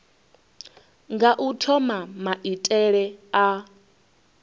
nga u thoma maitele a